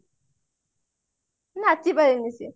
ନାଛି ପାରୁନି ସିଏ